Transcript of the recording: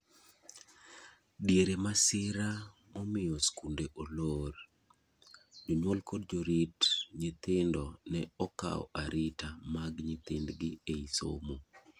diere masira momiyo skunde olor, jonyuol kod jorit nyuthindo ne okawo arita mag nyithind gi ei somo